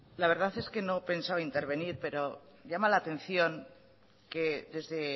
la verdad es que no pensaba intervenir pero llama la atención que desde